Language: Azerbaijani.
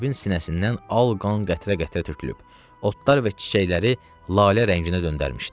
Zeynəbin sinəsindən al qan qətrə-qətrə tökülüb, otlar və çiçəkləri lalə rənginə döndərmişdi.